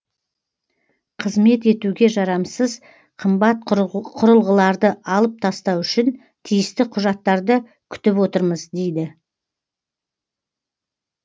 қызмет етуге жарамсыз қымбат құрылғыларды алып тастау үшін тиісті құжаттарды күтіп отырмыз дейді